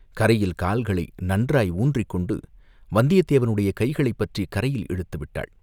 கரையில் கால்களை நன்றாய் ஊன்றிக் கொண்டு வந்தியத் தேவனுடைய கைகளைப் பற்றிக் கரையில் இழுத்து விட்டாள்.